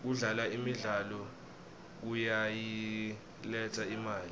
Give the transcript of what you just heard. kudlala imidlalo kuyayiletsa imali